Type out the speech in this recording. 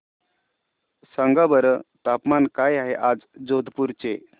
सांगा बरं तापमान काय आहे आज जोधपुर चे